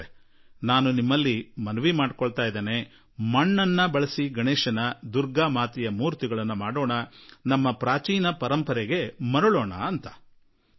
ನಾನೂ ಕೂಡಾ ನಾವೇಕೆ ಮಣ್ಣನ್ನು ಉಪಯೋಗಿಸಿಕೊಂಡು ಗಣೇಶನ ಮೂರ್ತಿಗಳು ದುರ್ಗೆಯ ಮೂರ್ತಿಗಳನ್ನು ಮಾಡಬಾರದು ಹಾಗೂ ಆ ನಮ್ಮ ಪುರಾತನ ಪರಂಪರೆಯನ್ನು ಮರಳಿ ಏಕೆ ತರಬಾರದೆಂದು ನಿಮ್ಮೆಲ್ಲರಲ್ಲೂ ಮನವಿ ಮಾಡುವೆ